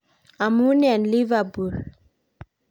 Amun en Liverpool